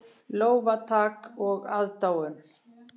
Lófatak og aðdáun.